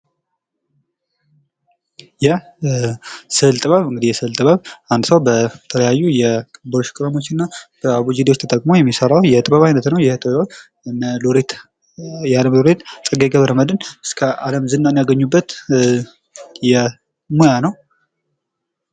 የስዕል ጥበብ፡- የስዕል ጥበብ አንድ ሰው በተለያዩ የብሩሽ ቀለሞችና አቡጃዲዎች ተጠቅሞ የሚሰራው የጥበብ አይነት ነው። ይህ ጥበብ እነ ሎሬት ጸጋዬ ገብረመድህን እስከ ዓለም ዝናን ያገኙበት ሙያ ነው።